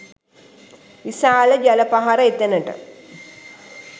විශාල ජල පහර එතැනට